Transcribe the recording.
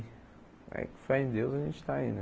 Aí com fé em Deus a gente está aí, né?